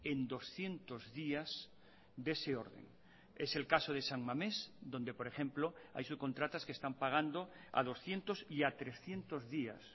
en doscientos días de ese orden es el caso de san mamés donde por ejemplo hay subcontratas que están pagando a doscientos y a trescientos días